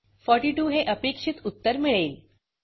42 हे अपेक्षित उत्तर मिळेल